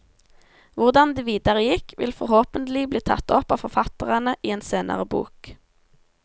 Hvordan det videre gikk, vil forhåpentlig bli tatt opp av forfatterne i en senere bok.